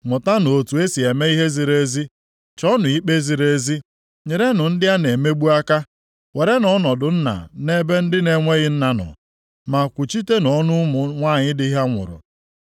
Mụtanụ otu e si eme ihe ziri ezi; chọọnụ ikpe ziri ezi, nyerenụ ndị a na-emegbu aka. Werenụ ọnọdụ nna nʼebe ndị na-enweghị nna nọ, ma kwuchitenụ ọnụ ụmụ nwanyị di ha nwụrụ.